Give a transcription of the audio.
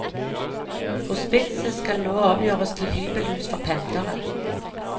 Hospitset skal nå omgjøres til hybelhus for pendlere.